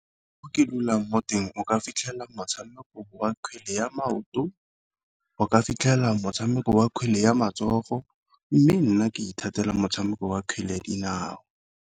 Ko ke dulang mo teng o ka fitlhela motshameko wa kgwele ya maoto, o ka fitlhela motshameko wa kgwele ya matsogo, mme nna ke ithatela motshameko wa kgwele ya dinao.